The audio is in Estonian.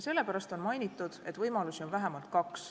Sellepärast on mainitud, et võimalusi on vähemalt kaks.